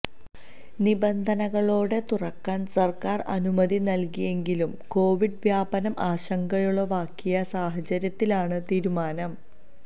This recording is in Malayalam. നിബന്ധനകളോടെ തുറക്കാൻ സർക്കാർ അനുമതി നൽകിയെങ്കിലും കോവിഡ് വ്യാപനം ആശങ്കയുളവാക്കിയ സാഹചര്യത്തിലാണ് തീരുമാനം